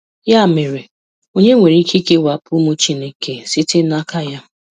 Ya mere, onye nwere ike ikewapụ ụmụ Chineke site n'aka Ya?